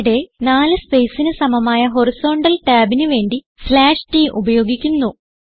ഇവിടെ 4 spacesന് സമമായ ഹോറിസോണ്ടൽ ടാബിന് വേണ്ടി t ഉപയോഗിക്കുന്നു